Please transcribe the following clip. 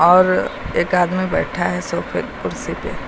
और एक आदमी बैठा है सोफे कुर्सी पे।